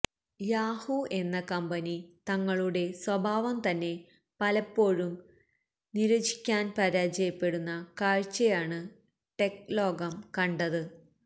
Yahoo എന്ന company തങ്ങളുടെ സ്വഭാവം തന്നെ പലപ്പോഴും നിര്വചിക്കാന് പരാജയപ്പെടുന്ന കാഴ്ചയാണ് ടെക് ലോകം കണ്ടത്